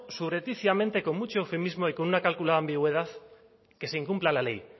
subrepticiamente con mucho eufemismo y con una calculada ambigüedad que se incumpla la ley